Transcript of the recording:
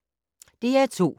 DR2